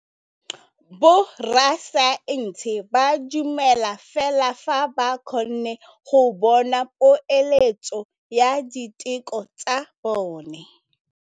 Borra saense ba dumela fela fa ba kgonne go bona poeletsô ya diteko tsa bone.